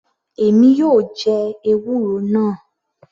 Èmi yóò jẹ ewúro náà.